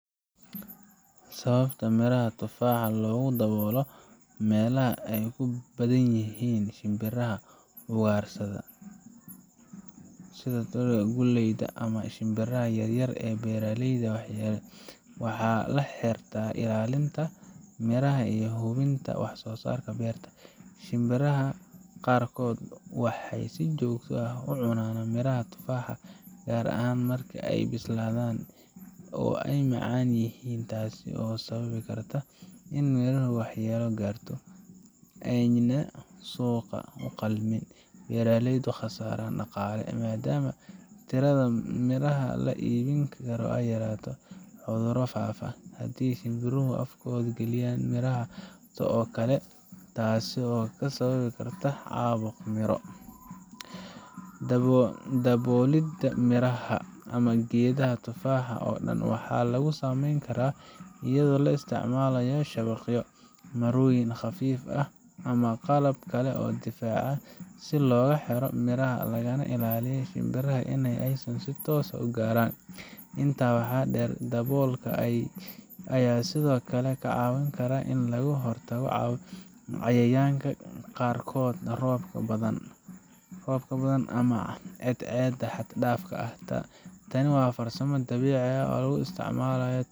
Sababta miraha tufaaxa loogu daboolo meelaha ay ku badan yihiin shimbiraha ugaarsada sida, qoolleyda ama shimbiraha yaryar ee beeraleyda waxyeelleeya waxay la xiriirtaa ilaalinta miraha iyo hubinta wax soosaarka beerta. Shimbiraha qaarkood waxay si joogto ah u cunaan miraha tufaaxa, gaar ahaan marka ay bislaadaan oo ay macaan yihiin, taas oo sababi karta in: Miraha waxyeello gaarto, ayna suuqa u qalmin; Beeraleydu khasaaraan dhaqaale, maadaama tirada miraha la iibin karo ay yaraato; Cudurro faafaan, haddii shimbiruhu afkooda geliyaan miraha oo kale, taas oo sababi karta caabuq miro Daboolidda miraha ama geedaha tufaaxa oo dhan waxaa lagu sameeyaa iyadoo la isticmaalayo shabaqyo , marooyin khafiif ah, ama qalab kale oo difaac ah si loogu xiro miraha, lagana ilaaliyo shimbiraha in ay si toos ah u gaaraan. Intaa waxaa dheer, daboolka ayaa sidoo kale ka caawin kara in laga hortago cayayaanka qaarkood, roobka badan, ama cadceedda xad dhaafka ah. Tani waa farsamo dabiici ah oo lagu isticmalayo isticmaalin,